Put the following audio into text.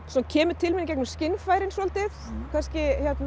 kemur til mín í gegnum skynfærin svolítið kannski